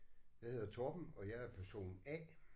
Jeg hedder Torben og jeg er person A